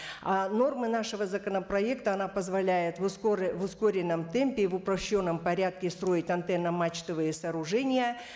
а норма нашего законопроекта она позволяет в ускоренном темпе в упращенном порядке строить антенно мачтовые сооружения